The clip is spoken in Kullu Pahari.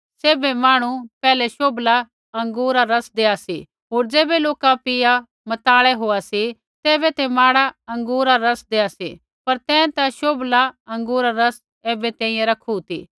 सैभ मांहणु पैहलै शोभला अँगूरा रा रस्स देआ सी होर ज़ैबै लोका पिया मताए होआ सी तैबै ते माड़ा अँगूरा रा रस देआ सी पर तैं ता शोभला अँगूरा रा रस ऐबै तैंई रखु ती